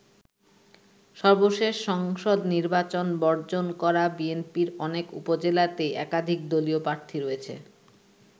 সর্বশেষ সংসদ নির্বাচন বর্জন করা বিএনপির অনেক উপজেলাতেই একাধিক দলীয় প্রার্থী রয়েছে।